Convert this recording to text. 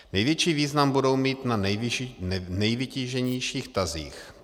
Největší význam budou mít na nejvytíženějších tazích.